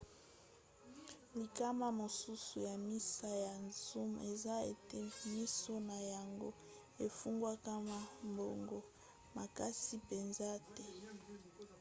likama mosusu ya miso ya zoom eza ete miso na yango efungwamaka mbango makasi mpenza te